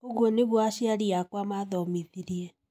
ũguo nĩgũo aciari akwa mathomithirie